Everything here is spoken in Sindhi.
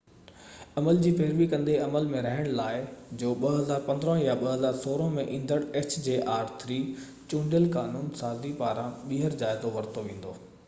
عمل جي پيروي ڪندي عمل ۾ رهڻ لاءِ hjr-3 جو 2015 يا 2016 ۾ ايندڙ چونڊيل قانون سازي پاران ٻيهر جائزو ورتو ويندو